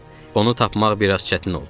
Onu tapmaq biraz çətin oldu.